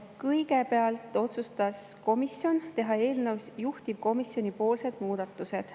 Kõigepealt otsustas komisjon teha eelnõus juhtivkomisjoni pakutavad muudatused.